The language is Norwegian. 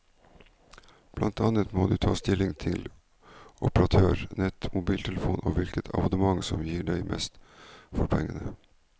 Blant annet må du ta stilling til operatør, nett, mobiltelefon og hvilket abonnement som gir deg mest for pengene.